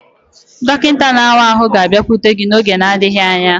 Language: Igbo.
Dọkịta na-awa ahụ ga-abịakwute gị n'oge n'adịghị anya.